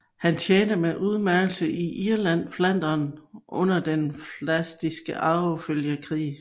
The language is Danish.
Han tjente med udmærkelse i Irland og Flandern under den Pfalziske Arvefølgekrig